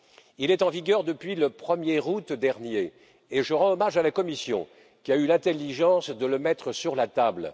Il est en vigueur depuis le 1er août dernier et je rends hommage à la Commission qui a eu l'intelligence de le mettre sur la table.